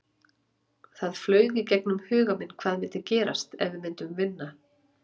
Það flaug í gegnum huga minn hvað myndi gerast ef við myndum vinna?